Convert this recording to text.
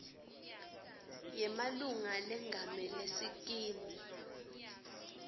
yemalunga lengamele sikimu